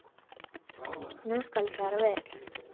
Nú skal fara vel.